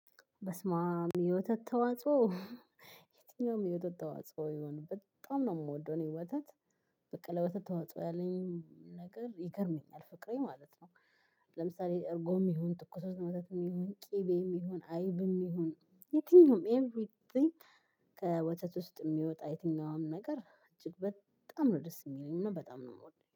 በስማም የወተት ተዋጽኦ የትኛውም የወተት ተዋጽኦ ይሆን በጣም ነው የምወደው እኔ ወተት በቃ ለወተት ተዋጽኦ ያለኝ ነገር ይገርመኛል ፍቅሬ ማለት ነው። ለምሳሌ እርጎም ይሁን ትኩስ ወተትም ይሁን ቂቤም ይሁን አይብም ይሁን የትኛውም ኤቭሪቲንግ። ከወተት ውስጥ የሚወጣ የትኛውም ነገር እጅግ በጣም ነው ደስ የሚለኝ ነው በጣም ነው የምወደው